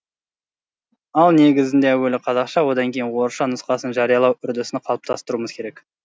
ал негізінде әуелі қазақша одан кейін орысша нұсқасын жариялау үрдісін қалыптастыруымыз керек